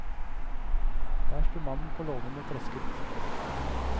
Der sto mannen på låven og tresket.